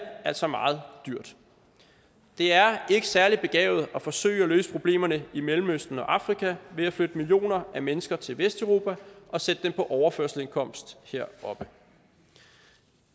altså meget dyrt det er ikke særlig begavet at forsøge at løse problemerne i mellemøsten og afrika ved at flytte millioner af mennesker til vesteuropa og sætte dem på overførselsindkomst heroppe